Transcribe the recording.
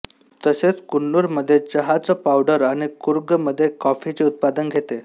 तसेच कुन्नूर मध्ये चहाच पावडर आणि कूर्ग मध्ये कॉफीचे उत्पादन घेते